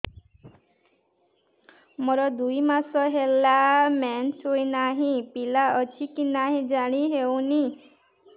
ମୋର ଦୁଇ ମାସ ହେଲା ମେନ୍ସେସ ହୋଇ ନାହିଁ ପିଲା ଅଛି କି ନାହିଁ ଜାଣି ହେଉନି